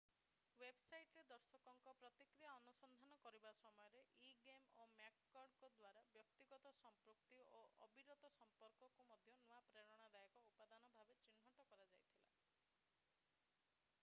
ୱେବସାଇଟରେ ଦର୍ଶକଙ୍କ ପ୍ରତିକ୍ରିୟା ଅନୁସନ୍ଧାନ କରିବା ସମୟରେ ଇଗମେ ଓ ମ୍ୟାକକର୍ଡ 1998ଙ୍କ ଦ୍ୱାରା ବ୍ୟକ୍ତିଗତ ସମ୍ପୃକ୍ତି ଓ ଅବିରତ ସମ୍ପର୍କ"କୁ ମଧ୍ୟ ନୂଆ ପ୍ରେରଣାଦାୟକ ଉପାଦାନ ଭାବରେ ଚିହ୍ନଟ କରାଯାଇଥିଲା।